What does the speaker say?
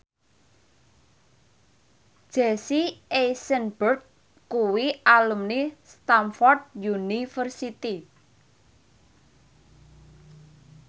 Jesse Eisenberg kuwi alumni Stamford University